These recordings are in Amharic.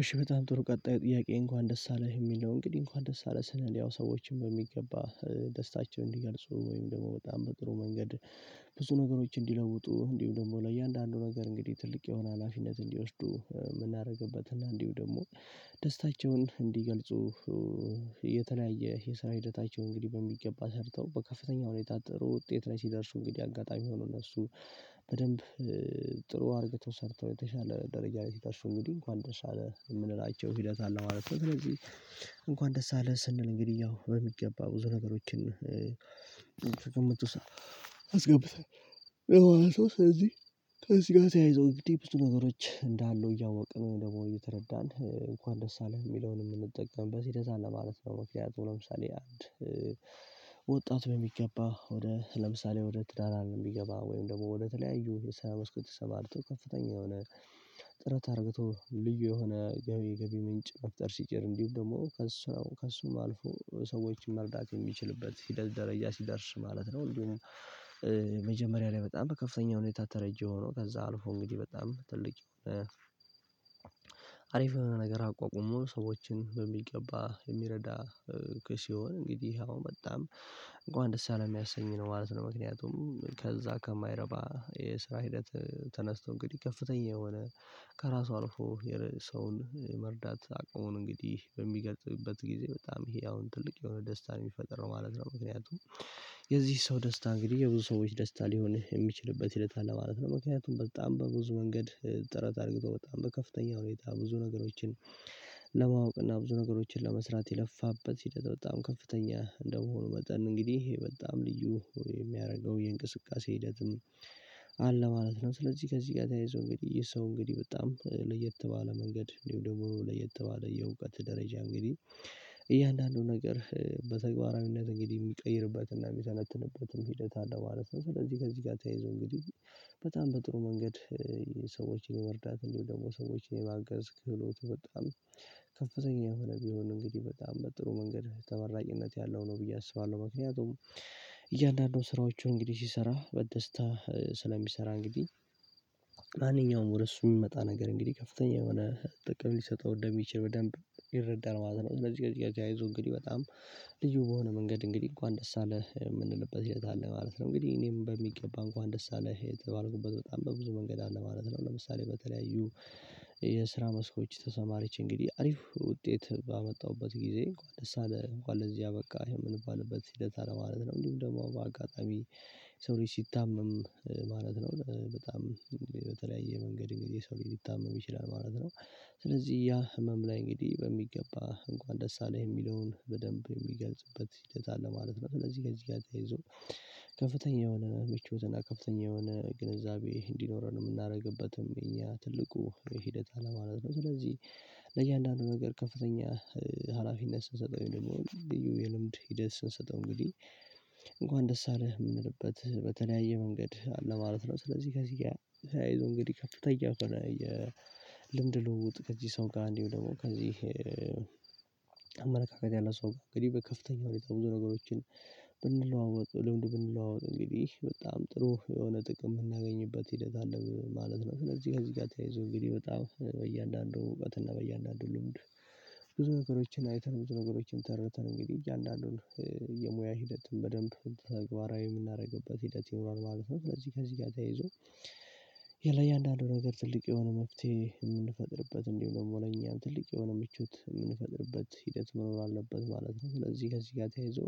እሺ በጣም ጥሩ ቀጣዩ ጥያቄ እንኳን ደስ አለህ የሚለው እንግዲህ እንኳን ደስ አለህ ስንል ሰዎችን በሚገባ ደስታቸውን እንዲገልጹ ወይም ደግሞ በጣም በጥሩ መንገድ ብዙ ነገሮች እንዲለውጡ እንዲሁ ደግሞ ለእያንዳንዱ ነገር እንግዲህ ትልቅ የሆነ ሀላፊነት እንዲወስዱ የምናደርግበት እና እንዲሁም ደግሞ ደስታቸውን እንዲገልጹ። የተለያየ የሰራ ሂደታቸው እንግዲህ በሚገባ ሰርተው በከፍተኛ ሁኔታ ጥሩ ውጤት ላይ ሲደርሱ እንግዲህ አጋጣሚ ሆኖ እነሱ በደንብ ጥሩ አርገተው ሰርተው የተሻለ ደረጃ ላይ ሲደርሱ እንግዲህ እንኳን ደስ አለህ የምንላቸው ሂደት አለ ማለት ነው ስለዚህ። እንኳን ደስ አለህ ስንል እንግዲህ ያው በሚገባ ብዙ ነገሮችን አስገብተን ማለት ነው። ስለዚህ ከዚህ ጋር ተያይዘው እንግዲህ ብዙ ነገሮች እንዳሉ እያወቅን ወይንም ደግሞ እየተረዳን እንኳን ደስ አለህ የሚለውን የምንጠቀምበት ሂደት አለ ማለት ነው። ምክንያቱም ለምሳሌ አንድ ወጣት በሚገባ ወደ ለምሳሌ ወደ ትዳር አለም ቢገባ ወይም ደግሞ ወደ ተለያዩ የስራ መስኮች ተሰማርቶ ከፍተኛ የሆነ ጥረት አርግቶ ልዩ የሆነ ገቢ ገቢ ምንጭ መፍጠር ሲችል እንዲሁም ደግሞ ከስራው ከእሱም አልፎ ሰዎችን መርዳት የሚችልበት ሂደት ደረጃ ሲደርስ ማለት ነው። እንዲሁም መጀመሪያ ላይ በጣም በከፍተኛ ሁኔታ ተረጂ ሆኖ ከዛ አልፎ እንግዲህ በጣም ትልቅ የሆነ አሪፍ የሆነ ነገር አቋቁሞ ሰዎችን በሚገባ የሚረዳ። ክ ሲሆን እንግዲህ ያው በጣም እንኳን ደስ አለህ የሚያሰኝ ነው ማለት ነው። ምክንያቱም ከዛ ከማይረባ የስራ ሂደት ተነስቶ እንግዲህ ከፍተኛ የሆነ ከእራሱ አልፎ የሰውን መርዳት አቅሙን እንግዲህ በሚገልጽበት ጊዜ በጣም ይሄ አሁን ትልቅ የሆነ ደስታ ነው የሚፈጥረው ማለት ነው። ምክንያቱም የዚህ ሰው ደስታ እንግዲህ የብዙ ሰዎች ደስታ ሊሆን የሚችልበት ሂደት አለ ማለት ነው። ምክንያቱም በጣም በብዙ ወንገድ ጥረት አርግቶ በጣም በከፍተኛ ሁኔታ ብዙ ነገሮችን ለማወቅ እና ብዙ ነገሮችን ለመስራት የለፋበት ሂደት በጣም ከፍተኛ እንደመሆኑ መጠን እንግዲህ በጣም ልዩ የሚያደርገው የእንቅስቃሴ ሂደትም አለ ማለት ነው። ስለዚህ ከዚህ ጋር ተያይዞ እንግዲህ የሰው እንግዲህ በጣም ለየት ባለ መንገድ እንዲሁም ደግሞ ለየት ባለ የእውቀት ደረጃ እንግዲህ እያንዳንዱ ነገር በተግባራዊነት እንግዲህ የሚቀይርበትና የሚተንትበትም ሂደት አለ ማለት ነው። ስለዚህ ከዚህ ጋር ተያይዞ እንግዲህ በጣም በጥሩ መንገድ ሰዎችን የመርዳት እንዲሁም ደግሞ ሰዎችን የማገዝ ክህሎቱ በጣም ከፍተኛ የሆነ ቢሆን እንግዲህ በጣም በጥሩ መንገድ ተመራጭነት ያለው ነው ብዬ አስባለሁ። ምክንያቱም እያንዳንዱን ስራዎቹን እንግዲህ ሲሰራ በደስታ ስለሚሰራ እንግዲህ ማንኛውም ወደ እሱ የሚመጣ ነገር እንግዲህ ከፍተኛ የሆነ ጥቅም ሊሰጠው እንደሚችል በደንብ ይረዳል ማለት ነው። ስልዚህ ከዚህ ጋር ተያይዞ እንግዲህ በጣም ልዩ በሆነ መንገድ እንግዲህ እንኳን ደስ አለህ የምንልበት ሂደት አለ ማለት ነው። እንግዲህ እኔም በሚገባ እንኳን ደስ አለህ የተባለሁበት በጣም በብዙ መንገድ አለ ማለት ነው። ለምሳሌ በተለያዩ የስራ መስኮች ተሰማርቼ እንግዲህ አሪፍ ውጤት ባመጣሁበት ጊዜ እንኳን ደስ አለህ እንኳን ለዚህ አበቃህ የምንባልበት ሂደት አለ ማለት ነው። እንዲሁም ደግሞ በአጋጣሚ የሰው ልጅ ሲታመም ማለት ነው በጣም በተለያየ መንገድ እንግዲህ ሰው ሊታመም ይችላል ማለት ነው። ስለዚህ ያ ህመም ላይ እንግዲህ በሚገባ እንኳን ደስ አለህ የሚለውን በደንብ የሚገልጽበት ሂደት አለ ማለት ነው። ስለዚህ ከዚህ ጋር ተያይዞ ከፍተኛ የሆነ ምቾትና ከፍተኛ የሆነ ግንዛቤ እንዲኖረን የምናደርግበትም የእኛ ትልቁ ሂደት አለ ማለት ነው። ስለዚህ ለእያንዳንዱ ነገር ከፍተኛ ሀላፊነት ስንሰጠው ወይንም ደግሞ ልዩ የልምድ ሂደት ስንሰጠው እንግዲህ እንኳን ደስ አለህ የምንልበት በተለያየ መንገድ አለ ማለት ነው። ስለዚህ ከዚህ ጋር ተያይዞ እንግዲህ ከፍተኛ የሆነ የልምድ ልውውጥ ከዚህ ሰው ጋር እንዲሁም ደግሞ ከዚህ ያለ ሰው ጋር እንግዲህ በከፍተኛ ሁኔታ ብዙ ነገሮችን ብንለዋወጥ ልምድ ብንለዋወጥ እንግዲህ በጣም ጥሩ የሆነ ጥቅም የምናገኝበት ሂደት አለ ማለት ነው። ስለዚህ ከዚህ ጋር ተያይዞ እንግዲህ በጣም በእያንዳንዱ እውቀትና በእያንዳንዱ ልምድ ብዙ ነገሮችን አይተን ብዙ ነገሮችን ተረድተን እንግዲህ እያንዳንዱን የሙያ ሂደትም በደንብ ተግባራዊ የምናደርግበት ሂደት ይኖራል ማለት ነው። ስለዚህ ከዚህ ጋር ተያይዞ ለእያንዳንዱ ነገር ትልቅ የሆነ መፍትሄ የምንፈጥርበት እንዲሁም ደግሞ ለኛም ትልቅ የሆነ ምቾት የምንፈጥርበት ሂደት መኖር አለበት ማለት ነው። ስለዚህ ከዚህ ጋር ተያይዞ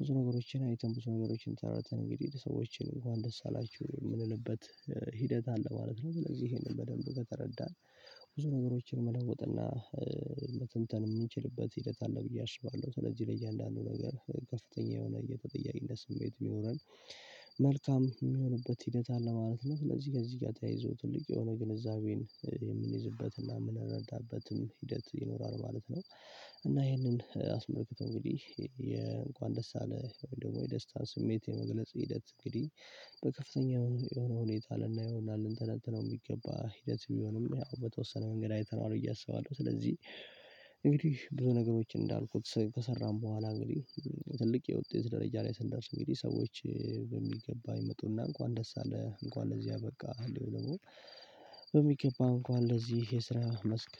ብዙ ነገሮችን አይተን ብዙ ነገሮችን ተረድተን እንግዲህ ሰዎችን እንኳን ደስ አላችሁ የምንልበት ሂደት አለ ማለት ነው። ስለዚህ ይሄንን በደንብ ከተረዳን ብዙ ነገሮችን መለወጥና መተንተን የምንችልበት ሂደት አለ ብዬ አስባለሁ። ሰለዚህ ለየአንዳንዱ ነገር ከፍተኛ የሆነ የተጠያቂነት ስሜት ቢኖረን መልካም የሚሆንበት ሂደት አለ ማለት ነው። ስለዚህ ከዚህ ጋር ተያይዞ ትልቅ የሆነ ግንዛቤን የምንይዝበት እና የምንረዳበትም ሂደት ይኖራል ማለት ነው። እና ይህንን አስመልክቶ እንግዲህ የእንኳን ደስ አለህ ወይንም ደግሞ የደስታን ስሜት የመግለጽ ሂደት እንግዲህ በከፍተኛ የሆነ ሁኔታ ልናየውና ልንተነትነው የሚገባ ሂደት ቢሆንም ያው በተወሰነ መንገድ አይተነዋል ብየ አሰባለሁ። ስለዚህ እንግዲህ ብዙ ነገሮች እንዳልኩት ከሰራን በኋላ እንግዲህ ትልቅ የውጤት ደረጃ ላይ ስንደርስ እንግዲህ ሰዎች በሚገባ ይመጡና እንኳን ደስ አለህ እንኳን ለዚህ አበቃህ እንዲሁም ደግሞ በሚገባ እንኳን ለዚህ የስራ መስክ